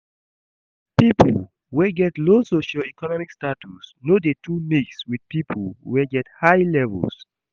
Pipo wey get low socio-economic status no de too mix with pipo wey get high levels